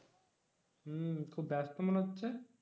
হম খুব ব্যাস্ত মনে হচ্ছে?